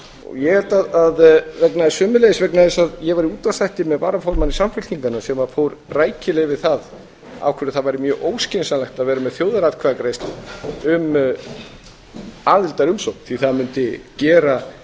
ég held að einnig vegna þess að ég var í útvarpsþætti með varaformanni samfylkingarinnar sem fór rækilega yfir það af hverju það væri mjög óskynsamlegt að vera með þjóðaratkvæðagreiðslu um aðildarumsókn því það mundi gera